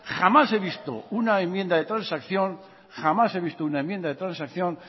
jamás he visto una enmienda de transacción